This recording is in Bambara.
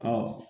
Ɔ